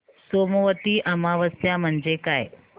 सोमवती अमावस्या म्हणजे काय